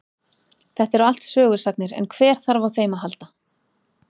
Þetta eru allt sögusagnir en hver þarf á þeim að halda.